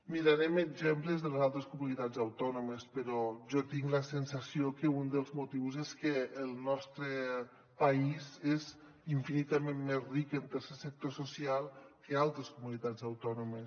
mirarem exemples de les altres comunitats autònomes però jo tinc la sensació que un dels motius és que el nostre país és infinitament més ric en tercer sector social que altres comunitats autònomes